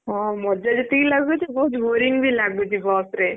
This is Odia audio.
ହଁ ମଜା ଯେତିକି ଲାଗୁଚି ବହୁତ୍ boring ବି ଲାଗୁଚି ବସ ରେ।